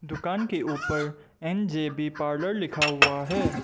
दुकान के ऊपर एन_जे_बी पार्लर लिखा हुआ है।